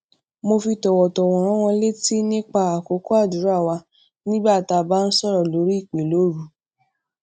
mo fi tòwòtòwò rán wọn létí nipa àkókò àdúrà wa nígbà tí a bá ń sòrò lórí ìpè lóru